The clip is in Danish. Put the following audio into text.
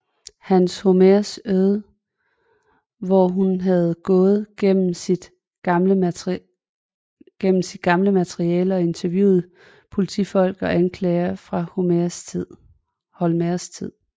Hans Holmérs öde hvor hun havde gået igennem sit gamle materiale og interviewet politifolk og anklagere fra Holmérs tid